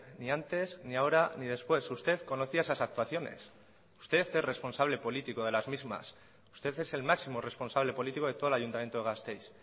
ni antes ni ahora ni después usted conocía esas actuaciones usted es responsable político de las mismas usted es el máximo responsable político de todo el ayuntamiento de gasteiz